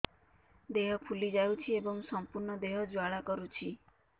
ଦେହ ଫୁଲି ଯାଉଛି ଏବଂ ସମ୍ପୂର୍ଣ୍ଣ ଦେହ ଜ୍ୱାଳା କରୁଛି